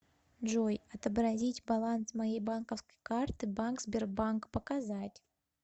джой отобразить баланс моей банковской карты банк сбербанк показать